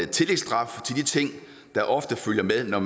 tillægsstraf til de ting der ofte følger med når